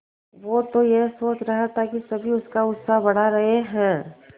वो तो यह सोच रहा था कि सभी उसका उत्साह बढ़ा रहे हैं